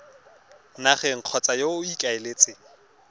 nageng kgotsa yo o ikaeletseng